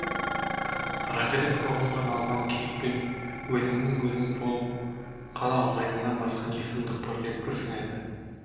арагідік қоғамға налыған кейіппен өзіңнің өзің болып қала алмайтыныңнан асқан не сұмдық бар деп күрсінеді